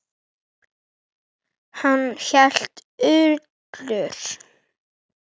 Hann hét Ullur.